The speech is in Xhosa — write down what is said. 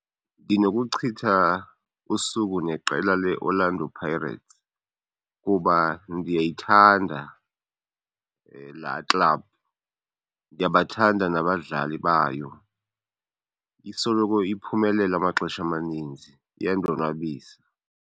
Ndinokuchitha usuku neqela leOrlando Pirates kuba ndiyayithanda laa club, ndiyabathanda nabadlali bayo. Isoloko iphumelela amaxesha amaninzi, iyandonwabisa.